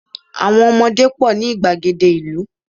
àwọn ọmọdé pọ ni igbagede ìlú